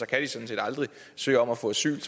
kan de sådan set aldrig søge om at få asyl